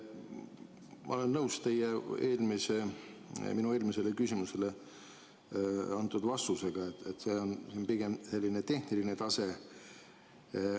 Ma olen nõus minu eelmisele küsimusele antud vastusega, et see on pigem tehniline tase.